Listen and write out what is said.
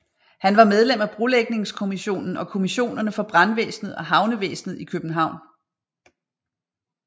Han var medlem af Brolægningskommissionen og Kommissionerne for Brandvæsenet og Havnevæsenet i København